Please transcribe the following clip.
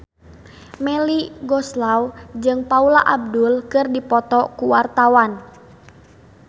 Melly Goeslaw jeung Paula Abdul keur dipoto ku wartawan